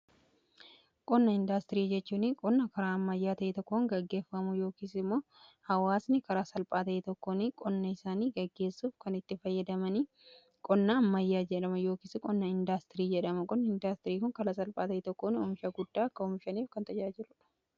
Qonna indaastirii jechuu qonna karaa ammayyaa ta'ee tokkoon gaggeeffamuu yookiisi immoo hawaasni karaa salphaa ta'e tokkoon qonna isaanii gaggeessuuf kan itti fayyadamanii qonna ammayyaa jedhama yookiis qonna indaastirii jedhama. Qonna indaastirii kon karaa salphaa ta'e tokkoon oomisha guddaa akka oomishaniif kan tajaajiludha.